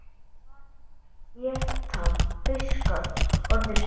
Hvað geta fiskar orðið stórir?